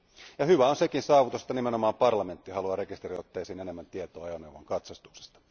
Ja hyvä on sekin saavutus, että nimenomaan parlamentti haluaa rekisteriotteisiin enemmän tietoa ajoneuvon katsastuksesta.